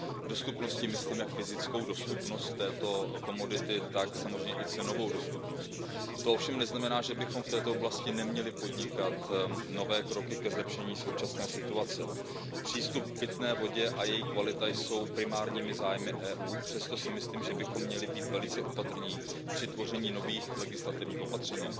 Dostupností myslím jak fyzickou dostupnost této komodity, tak samozřejmě i cenovou dostupnost. To ovšem neznamená, že bychom v této oblasti neměli podnikat nové kroky ke zlepšení současné situace. Přístup k pitné vodě a její kvalita jsou primárními zájmy EU, přesto si myslím, že bychom měli být velice opatrní při tvoření nových legislativních opatření.